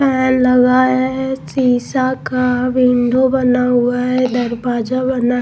Line लगा है शीशा का विंडो बना हुआ है दरवाजा बना हुआ है.